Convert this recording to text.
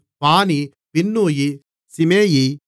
பானி பின்னூயி சிமெயி